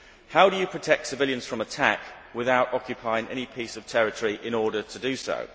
How do you protect civilians from attack without occupying any piece of territory in order to do so?